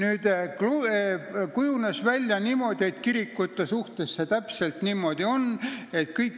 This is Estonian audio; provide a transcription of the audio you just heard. Aga kirikute puhul on sellega olnud kogu aeg pahandusi ja kirikute suhtes see täpselt niimoodi ei ole.